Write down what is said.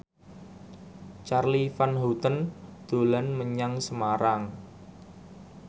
Charly Van Houten dolan menyang Semarang